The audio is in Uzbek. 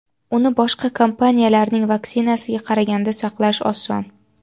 Uni boshqa kompaniyalarning vaksinasiga qaraganda saqlash oson.